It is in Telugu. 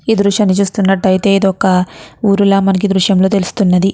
ఈ దృశ్యాన్ని చూస్తున్నట్టాయితే ఇది ఒక ఊరుల మనకి ఈ దృశ్యం లో తెలుస్తున్నది.